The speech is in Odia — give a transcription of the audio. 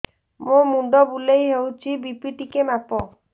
ମୋ ମୁଣ୍ଡ ବୁଲେଇ ହଉଚି ବି.ପି ଟିକେ ମାପ